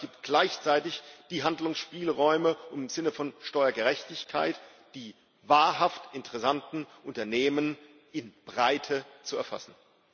Aber es gibt gleichzeitig die Handlungsspielräume, um im Sinne von Steuergerechtigkeit die wahrhaft interessanten Unternehmen in Breite zu erfassen.